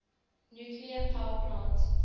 nuclear power plant